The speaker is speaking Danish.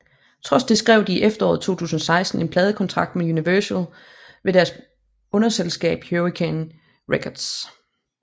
Trods det skrev de i efteråret 2016 en pladekontrakt med Universal ved deres underselskab Hurricane Records